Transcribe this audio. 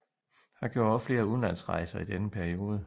Han gjorde også flere udenlandsrejser i denne periode